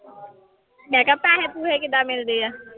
ਮੈਂ ਕਿਹਾ ਪੈਸੇ ਪੂਸੇ ਕਿੱਦਾਂ ਮਿਲਦੇ ਆ?